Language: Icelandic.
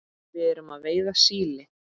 Við erum að veiða síli.